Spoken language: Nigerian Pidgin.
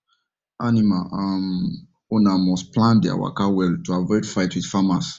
animal um owner must plan there waka well to avoid fight with farmers